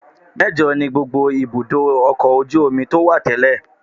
Mẹ́jọ ni gbogbo ibùdó ọkọ̀ ojú omi tó wà tẹ́lẹ̀